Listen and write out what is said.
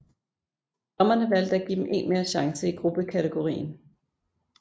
Dommerne valgte at give dem en mere chance i gruppekategorien